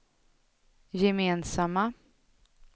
gemensamma